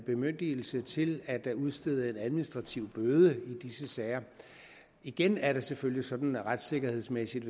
bemyndigelse til at udstede en administrativ bøde i disse sager igen er det selvfølgelig sådan retssikkerhedsmæssigt